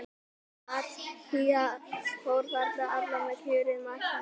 Matthías fór þarna illa með kjörið marktækifæri.